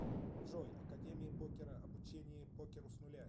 джой академия покера обучение покеру с нуля